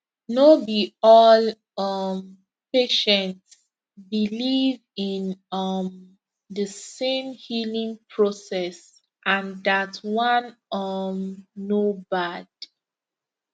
no be all um patients believe in um the same healing process and that one um no bad